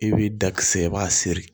I b'i da kisɛ i b'a siri